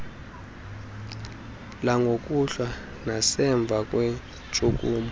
langokuhlwa nasemva kweentshukumo